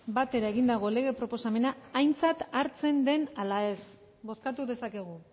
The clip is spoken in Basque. batera egindako lege proposamena aintzat hartzen den ala ez bozkatu dezakegu